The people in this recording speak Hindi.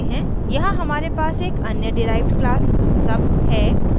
यहाँ हमारे पास एक अन्य डिराइव्ड class sub है